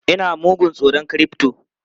Ina mugun tsoron crypto!